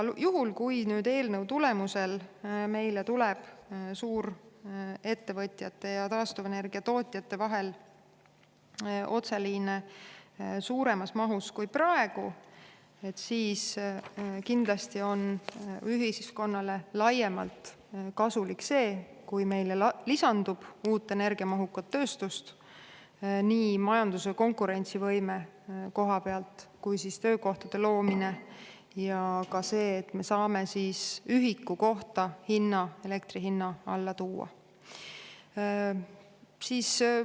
Juhul, kui eelnõu tulemusel meile tuleb suurettevõtjate ja taastuvenergia tootjate vahel otseliine suuremas mahus kui praegu, siis kindlasti on ühiskonnale laiemalt kasulik see, kui meile lisandub uut energiamahukat tööstust, nii majanduse konkurentsivõime kui ka töökohtade loomise koha pealt, samuti see, et me saame ühiku kohta elektri hinna alla tuua.